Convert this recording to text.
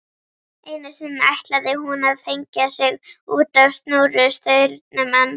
Einu sinni ætlaði hún að hengja sig útá snúrustaurnum en